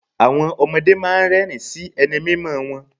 Àwọn ọmọdé máa ń rẹ́ẹ̀rín sí ẹni mímọ̀ wọn.